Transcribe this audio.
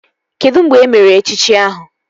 Kedụ mgbe emere echichi ahụ?